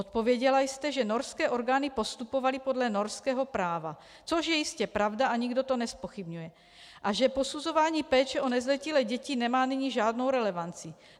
Odpověděla jste, že norské orgány postupovaly podle norského práva, což je jistě pravda a nikdo to nezpochybňuje, a že posuzování péče o nezletilé děti nemá nyní žádnou relevanci.